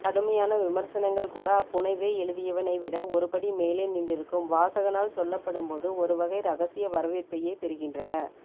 கடுமையான விமர்சனங்கள்கூட அப்புனைவை எழுதியவனை விட ஒருபடி மேலே நின்றிருக்கும் வாசகனால் சொல்லப்படும்போது ஒருவகை ரகசிய வரவேற்பையே பெறுகின்றன